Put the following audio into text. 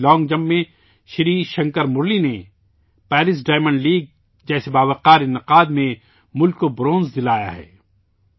جیسے کہ long jump میں سری شنکر مرلی نے پیرس ڈائمنڈ لیگ جیسے باوقار انعقاد میں ملک کے لیے کانسہ کا تمغہ جیتا ہے